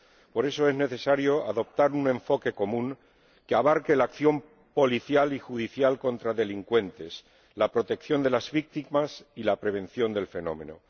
Por eso es necesario adoptar un enfoque común, que abarque la acción policial y judicial contra delincuentes, la protección de las víctimas y la prevención del fenómeno.